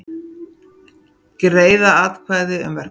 Greiða atkvæði um verkfall